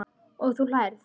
Og þú hlærð?